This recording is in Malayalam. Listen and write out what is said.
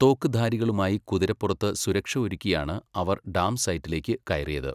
തോക്കുധാരികളുമായി കുതിരപ്പുറത്ത് സുരക്ഷയൊരുക്കിയാണ് അവർ ഡാം സൈറ്റിലേക്ക് കയറിയത്.